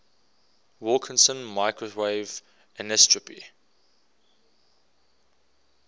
wilkinson microwave anisotropy